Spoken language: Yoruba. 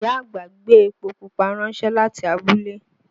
Ìyá àgbà gbé epo pupa ránṣẹ́ láti abúlé